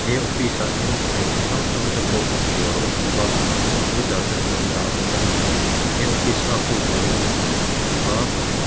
he office ah hian thuthleng chi hrang hrang te pawh hmuh tur a awm bawk a computer te pawh an dah bawk a ni he office nghak tu turin mi pakhat a thu bawk a --